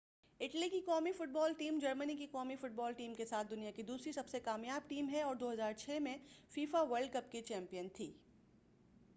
Italy کی قومی football team جرمنی کی قومی فٹبال ٹیم کے ساتھ دنیا کی دوسری سب سے کامیاب ٹیم ہے اور 2006 میں فیفا ورلڈ کپ کی چیمپئن تھی